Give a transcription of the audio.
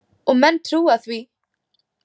Og menn trúa því.